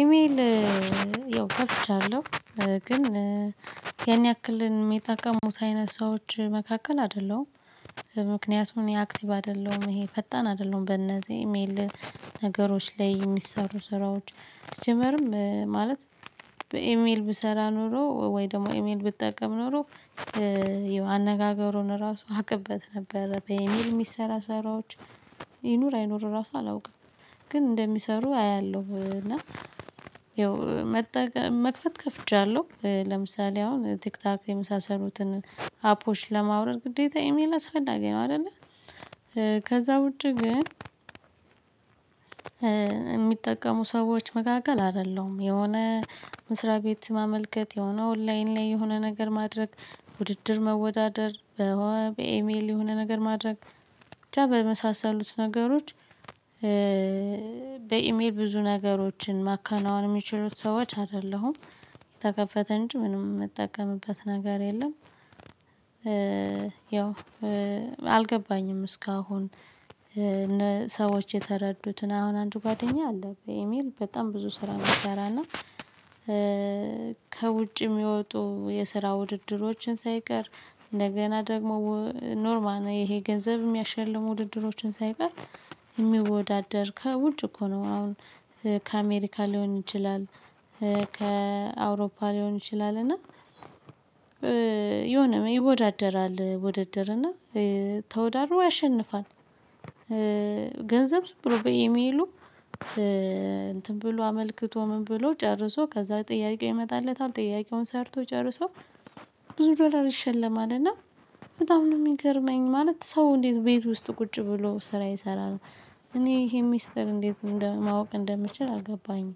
ኢሜል ያው ከፍቻለሁ ግን ያን ያክል የሚጠቀሙት አይነት ሰዎች መካከል አይደለሁም። ምክንያቱም እኔ አክቲቭ አይደለሁም ይሄ ፈጣን አይደለሁም በነዚህ ኢሜል ነገሮች ላይ የሚሰሩ ስራዎች። ሲጀመርም ማለት በኢሜል ብሰራ ኖሮ ወይ ደግሞ ኢሜል ብጠቀም ኖሮ አነጋገሩን ራሱ አቅበት ነበር። በኢሜል የሚሰራ ስራዎች ይኑር አይኑር ራሱ አላውቅም። ግን እንደሚሰሩ አያለሁ እና ያው መክፈት ከፍቻለሁ ለምሳሌ አሁን ቲክቶክ የመሳሰሉትን አፖች ለማውረድ ግዴታ ኢሜል አስፈላጊ ነው። አይደለ ከዛ ውጪ። ግን የሚጠቀሙ ሰዎች መካከል አይደለም የሆነ መስሪያ ቤት ማመልከት የሆነ ኦንላይን ላይ የሆነ ነገር ማድረግ ውድድር መወዳደር። በኤሜል የሆነ ነገር ማድረግ ብቻ በመሳሰሉት ነገሮች። በኢሜል ብዙ ነገሮችን ማከናወን የሚችሉት ሰዎች አይደሉም የተከፈተ እንጂ ምንም የምጠቀምበት ነገር የለም። ያው አልገባኝም እስካሁን። ሰዎች የተረዱትን አሁን አንድ ጓደኛዬ አለ በኢሚል በጣም ብዙ ስራ የሚሰራና። ከውጭ የሚወጡ የስራ ውድድሮችን ሳይቀር እንደገና ደግሞ ኖርማል ይሄ ገንዘብ የሚያሸልሙ ውድድሮችን ሳይቀር የሚወዳደር ከውጭ እኮ ነው። አሁን ከአሜሪካ ሊሆን ይችላል ከአውሮፓ ሊሆን ይችላል። እና የሆነ ይወዳደራል ውድድር እና ተወዳድሮ .ያሸንፋል። ገንዘብ ዝም ብሎ በኢሜሉ። እንትን ብሎ አመልክቶ ምን ብሎ ጨርሶ ከዛ ጥያቄው ይመጣለታል ጥያቄውን ሰርቶ ጨርሶ ብዙ ዶላር ይሸለማል። እና በጣም ነው የሚገርመኝ ማለት ሰው እንዴት ቤት ውስጥ ቁጭ ብሎ ስራ ይሰራል። እኔ ይሄን ሚስጥር እንዴት ማወቅ እንደምችል አልገባኝም።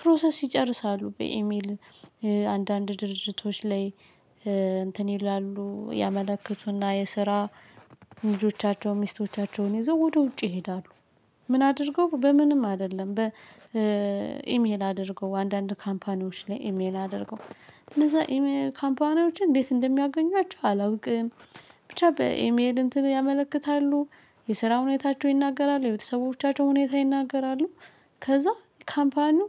ፕሮሰስ ይጨርሳሉ በኢሜል። አንዳንድ ድርጅቶች ላይ እንትን ይላሉ ያመለክቱና የስራ ልጆቻቸው ሚስቶቻቸውን ይዘው ወደ ውጪ ይሄዳሉ። ምን አድርገው በምንም አይደለም በኢሜል አድርገው አንዳንድ ካምፓኒዎች ላይ ኢሜል አድርገው እነዛ ካምፓኒዎችን እንዴት እንደሚያገኟቸው አላውቅም። ብቻ በኢሜል እንትን ያመለክታሉ የስራ ሁኔታቸው ይናገራሉ የቤተሰቦቻቸው ሁኔታ ይናገራሉ። ከዛ ካምፓኒው